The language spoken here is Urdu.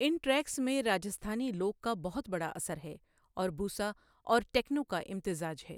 ان ٹریکس میں راجستھانی لوک کا بہت بڑا اثر ہے اور بوسا اور ٹیکنو کا امتزاج ہے۔